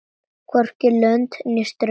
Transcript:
Hvorki lönd né strönd.